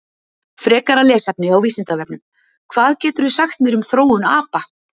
Frekara lesefni á Vísindavefnum: Hvað geturðu sagt mér um þróun apa?